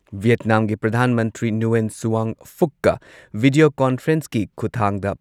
ꯚꯤꯌꯦꯠꯅꯥꯝꯒꯤ ꯄ꯭ꯔꯙꯥꯟ ꯃꯟꯇ꯭ꯔꯤ ꯅꯨꯌꯦꯟ ꯁꯨꯋꯥꯟ ꯐꯨꯛꯀ ꯚꯤꯗꯤꯌꯣ ꯀꯣꯟꯐꯔꯦꯟꯁꯀꯤ ꯈꯨꯊꯥꯡꯗ